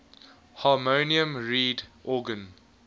harmonium reed organ